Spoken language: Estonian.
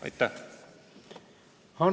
Aitäh!